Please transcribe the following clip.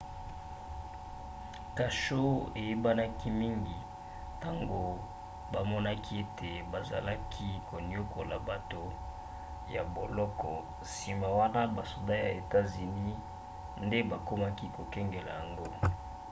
kasho eyebanaki mingi ntango bamonaki ete bazalaki koniokola bato ya boloko nsima wana basoda ya etats-unis nde bakomaki kokengela yango